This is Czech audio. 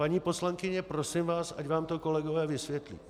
Paní poslankyně, prosím vás, ať vám to kolegové vysvětlí.